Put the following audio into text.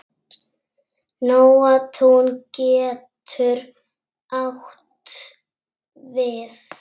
Nóatún getur átt við